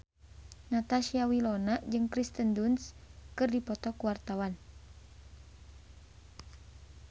Natasha Wilona jeung Kirsten Dunst keur dipoto ku wartawan